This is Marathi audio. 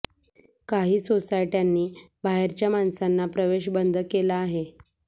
काही सोसायट्यांनी बाहेरच्या माणसांना प्रवेश बंद केला आहे